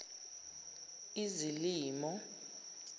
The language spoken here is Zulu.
izilimo